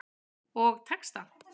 Og tekst það.